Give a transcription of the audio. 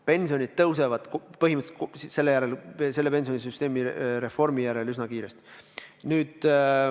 Pensionid tõusevad põhimõtteliselt pensionisüsteemi reformi järel üsna kiiresti.